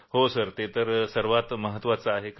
हो सर ते सर्वात जास्त गरजेचं आहे